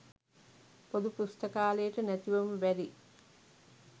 පොදු පුස්තකාලයට නැතිවම බැරි